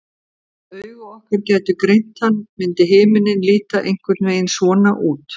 ef augu okkar gætu greint hann myndi himinninn líta einhvern veginn svona út